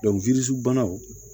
banaw